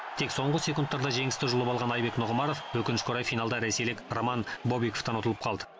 тек соңғы секундтарда жеңісті жұлып алған айбек нұғымаров өкінішке орай финалда ресейлік роман бобиковтан ұтылып қалды